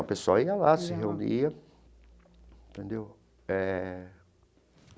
O pessoal ia lá, se reunia entendeu eh.